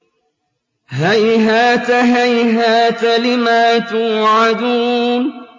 ۞ هَيْهَاتَ هَيْهَاتَ لِمَا تُوعَدُونَ